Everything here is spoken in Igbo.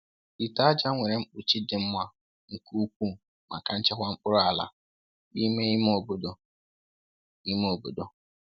Ite aja nwere mkpuchi dị mma nke ukwuu maka nchekwa mkpụrụ ala n’ime ime obodo. ime obodo.